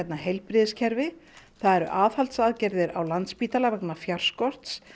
heilbrigðiskerfi það eru á Landspítala vegna fjárskorts